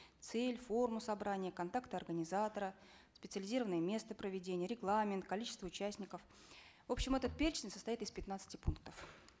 цель форму собрания контакты организатора специализированное место проведения регламент количество участников в общем этот перечень состоит из пятнадцати пунктов